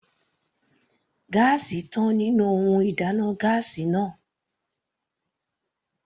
Gáásì tán nínú ohun ìdáná gáásì náà.